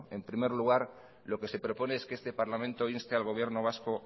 en primer lugar lo que se propone es que este parlamento inste al gobierno vasco